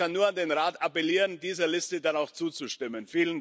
Und ich kann nur an den Rat appellieren, dieser Liste dann auch zuzustimmen.